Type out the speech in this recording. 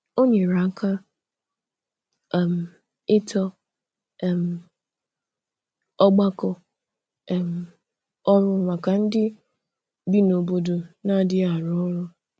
Ọ nyere aka um ịtọ um ọgbakọ um ọrụ maka ndị bi n’obodo na-adịghị arụ ọrụ.